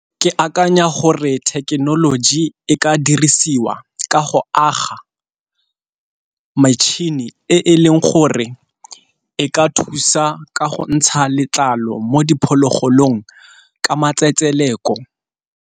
Ke akanya gore thekenoloji e ka dirisiwa ka go aga metšhini e leng gore e ka thusa ka go ntsha letlalo mo diphologolong ka matsetseleko.